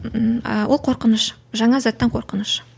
ііі ол қорқыныш жаңа заттан қорқыныш